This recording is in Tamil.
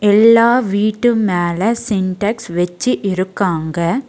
எல்லா வீட்டு மேல சின்டெக்ஸ் வெச்சி இருக்காங்க.